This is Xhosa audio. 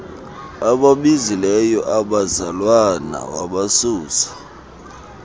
ababizileyo abazalwana wabasusa